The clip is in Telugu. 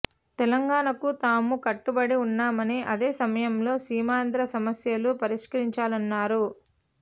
తెలంగాణకు తాము కట్టుబడి ఉన్నామని అదే సమయంలో సీమాంధ్ర సమస్యలు పరిష్కరించాలన్నారు